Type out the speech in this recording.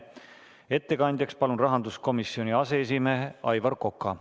Ettekandjaks palun rahanduskomisjoni aseesimehe Aivar Koka.